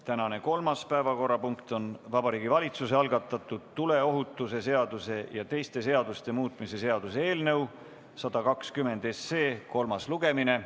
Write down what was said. Tänane kolmas päevakorrapunkt on Vabariigi Valitsuse algatatud tuleohutuse seaduse ja teiste seaduste muutmise seaduse eelnõu 120 kolmas lugemine.